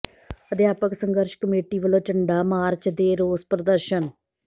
ਅਧਿਆਪਕ ਸੰਘਰਸ਼ ਕਮੇਟੀ ਵਲੋਂ ਝੰਡਾ ਮਾਰਚ ਤੇ ਰੋਸ ਪ੍ਰਦਰਸ਼ਨ